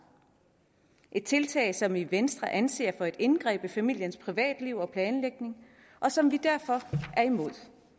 et tiltag som vi i venstre anser for et indgreb i familiens privatliv og planlægning og som vi derfor er imod